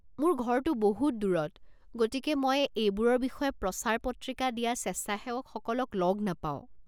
মোৰ ঘৰটো বহুত দূৰত গতিকে মই এইবোৰৰ বিষয়ে প্ৰচাৰ পত্ৰিকা দিয়া স্বেচ্ছাসেৱকসকলক লগ নাপাও।